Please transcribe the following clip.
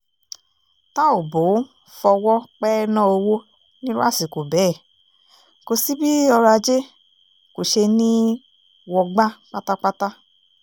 tá ò bó fọwọ́ pẹ́ẹ́ná owó nírú àsìkò bẹ́ẹ̀ kò sí bí ọrọ̀-ajé kò ṣeé ní í wọgbá pátápátá